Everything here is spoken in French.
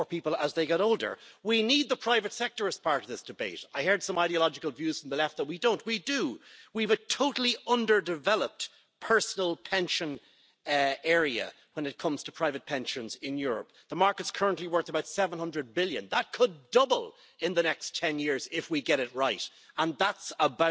avec le Conseil, d'être vigilante sur ce point. Ce produit peut s'avérer utile pour une portabilité des retraites dans une période où beaucoup de gens sont en mobilité, ont du mal à transférer effectivement leur pension et peuvent bénéficier d'un tel régime. Nous souhaitons qu'il s'agisse dans les faits d'un produit de retraite garantissant un accès